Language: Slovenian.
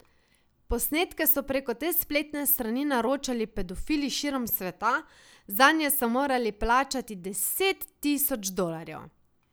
Posnetke so preko te spletne strani naročali pedofili širom sveta, zanje so morali plačati deset tisoč dolarjev.